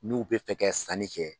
N'u bɛ fɛ kɛ sanni kɛ